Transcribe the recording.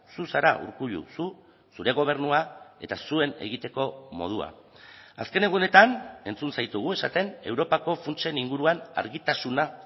zu zara urkullu zu zure gobernua eta zuen egiteko modua azken egunetan entzun zaitugu esaten europako funtsen inguruan argitasuna